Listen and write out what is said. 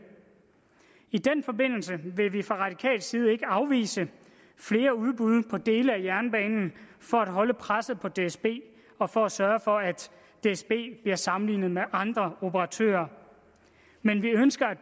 i den forbindelse vil vi fra radikal side ikke afvise flere udbud på dele af jernbanen for at holde presset på dsb og for at sørge for at dsb bliver sammenlignet med andre operatører men vi ønsker at